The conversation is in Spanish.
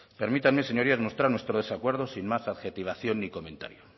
permítanme señorías mostrar nuestro desacuerdo sin más adjetivación ni comentario